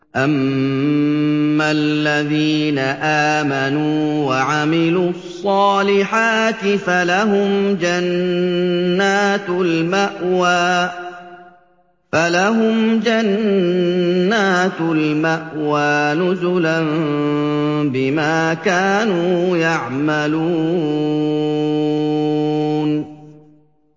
أَمَّا الَّذِينَ آمَنُوا وَعَمِلُوا الصَّالِحَاتِ فَلَهُمْ جَنَّاتُ الْمَأْوَىٰ نُزُلًا بِمَا كَانُوا يَعْمَلُونَ